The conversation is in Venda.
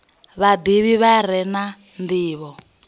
vhadivhi vha re na ndivho